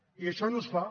i això no es fa